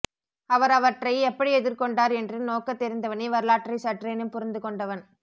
அவர் அவற்றை எப்படி எதிர்கொண்டார் என்று நோக்கத்தெரிந்தவனே வரலாற்றை சற்றேனும் புரிந்துகொண்டவன்